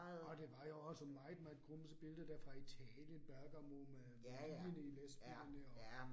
Og det var jeg også, meget meget grumsede billeder dér fra Italien, Bergamo med ligene i lastbilerne og